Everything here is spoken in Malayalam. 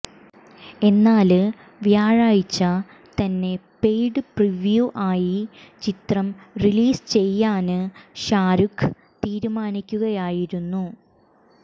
എന്നാല് വ്യാഴാഴ്ച തന്നെ പെയ്ഡ് പ്രിവ്യൂ ആയി ചിത്രം റിലീസ് ചെയ്യാന് ഷാരൂഖ് തീരുമാനിയ്ക്കുകയായിരുന്നു